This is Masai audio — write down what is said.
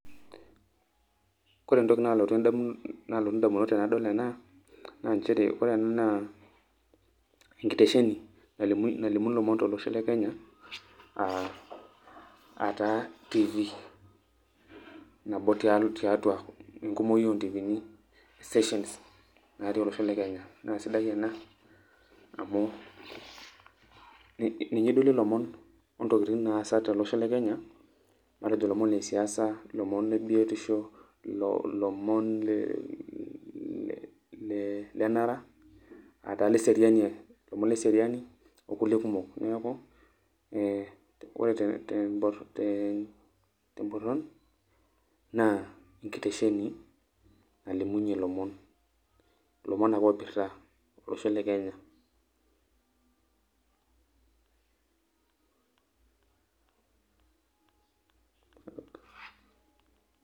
ore entoki nalotu endam, nalotu indamunot tenadol ena naaa nchere ore ena naa enkitesheni nalimu ilomon tolosho le kenya aa ataa tv, nabo tiatua enkumoi ontifini, stations natii oloshole kenya. Naa sidaiena amu ninye idolie ilomon ,ontokitin naatasa tolosho lekenya , matejo ntokittin e siasa ,lomon lebiosho, lomon le le lenara aa taa ile seriani, ilomon le seriani okuliekumok. Niaku ore te te mborron naa enkitesheni nalimunyie ilomon .Ilomon ake oipirta olosho le kenya .